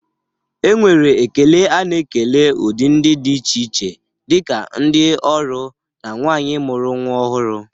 Enwere ekele a na-ekele udị ndị dị iche iche dị ka ndị ọrụ na nwaanyị mụru nwa ọhụrụ.